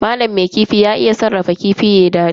Malam mai kifi ya iya sarrafa kifi yayi dadi.